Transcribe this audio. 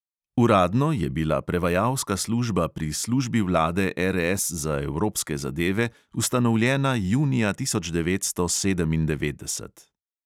Uradno je bila prevajalska služba pri službi vlade RS za evropske zadeve ustanovljena junija tisoč devetsto sedemindevetdeset.